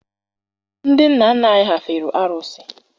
Ndị nna nna anyị ha fere arụsị.